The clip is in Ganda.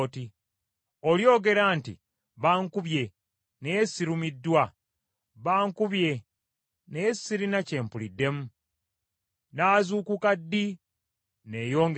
Olyogera nti, “Bankubye, naye sirumiddwa. Bankubye naye sirina kye mpuliddemu. Nnaazuukuka ddi, neeyongere okunywa?”